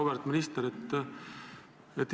Auväärt minister!